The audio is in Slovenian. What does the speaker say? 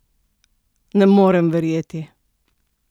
Ne morem verjeti?